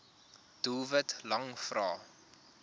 doelwit lang vrae